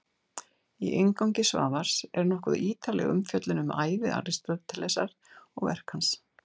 Í inngangi Svavars er nokkuð ítarleg umfjöllun um ævi Aristótelesar og verk hans.